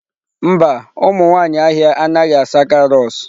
Mba, ụmụ nwanyị ahịa anaghị asa carrots